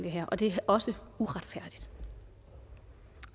og det er også uretfærdigt